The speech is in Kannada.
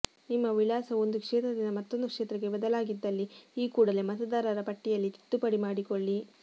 ನಿಮ್ಮ ವಿಳಾಸವು ಒಂದು ಕ್ಷೇತ್ರದಿಂದ ಮತ್ತೊಂದು ಕ್ಷೇತ್ರಕ್ಕೆ ಬದಲಾಗಿದ್ದಲ್ಲಿ ಈ ಕೂಡಲೇ ಮತದಾರರ ಪಟ್ಟಿಯಲ್ಲಿ ತಿದ್ದುಪಡಿ ಮಾಡಿಕೊಳ್ಳಿ